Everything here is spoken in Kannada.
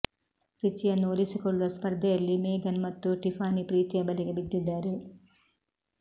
ರಿಚಿಯನ್ನು ಒಲಿಸಿಕೊಳ್ಳುವ ಸ್ಪರ್ಧೆಯಲ್ಲಿ ಮೇಗನ್ ಮತ್ತು ಟಿಫಾನಿ ಪ್ರೀತಿಯ ಬಲೆಗೆ ಬಿದ್ದಿದ್ದಾರೆ